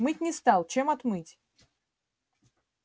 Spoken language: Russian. мыть не стал чем отмыть